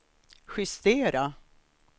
justera